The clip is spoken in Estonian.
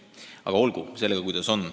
Aga olgu sellega, kuidas on.